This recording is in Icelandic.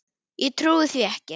Ég trúi því ekki.